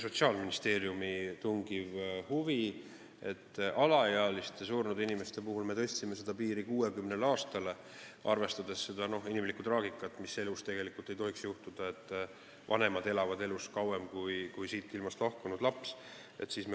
Sotsiaalministeeriumi tungiva huvi tõttu me tõstsime alaealiste surnud inimeste puhul selle piiri 60 aastale, arvestades seda inimlikku traagikat, mida elus tegelikult ei tohiks ette tulla, et vanemad elavad kauem kui laps.